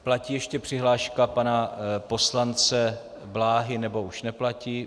Platí ještě přihláška pana poslance Bláhy, nebo už neplatí?